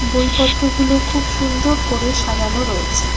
বইপত্রগুলো খুব সুন্দর করে সাজানো রয়েছে।